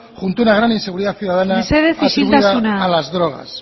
junto a una gran inseguridad ciudadana asidua a las drogas